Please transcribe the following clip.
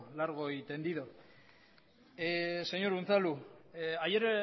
largo y tendido señor unzalu ayer